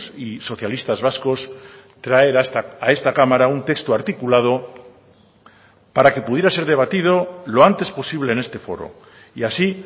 y socialistas vascos traer a esta cámara un texto articulado para que pudiera ser debatido lo antes posible en este foro y así